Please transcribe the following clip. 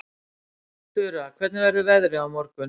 Fura, hvernig verður veðrið á morgun?